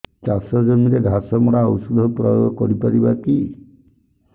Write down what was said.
ଚାଷ ଜମିରେ ଘାସ ମରା ଔଷଧ ପ୍ରୟୋଗ କରି ପାରିବା କି